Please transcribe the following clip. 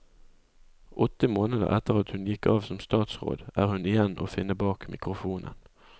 Åtte måneder etter at hun gikk av som statsråd, er hun igjen å finne bak mikrofonen.